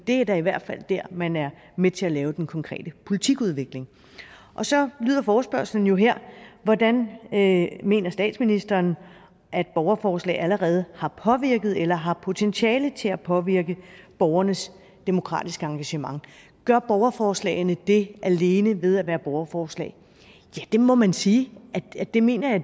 er da i hvert fald der man er med til at lave den konkrete politikudvikling og så lyder forespørgslen jo her hvordan mener statsministeren at borgerforslag allerede har påvirket eller har potentiale til at påvirke borgernes demokratiske engagement gør borgerforslagene det alene ved at være borgerforslag ja det må man sige det mener jeg